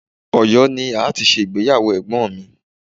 Ọ̀yọ́ ni a ti ṣe ìgbéyàwó Ẹ̀gbọ́n mi.